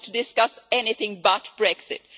he wants to discuss anything but Brexit.